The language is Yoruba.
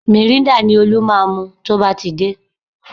Mìrîńdà ni Olú máa mu tó bá ti dé